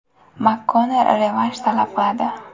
MakKonnor revansh talab qiladi.